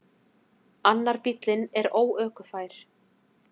Annar bíllinn er óökufær.